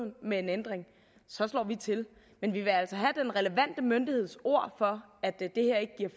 med en ændring så slår vi til men vi vil altså have den relevante myndigheds ord for at det